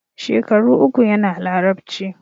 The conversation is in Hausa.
Shekaru uku yana Larabci.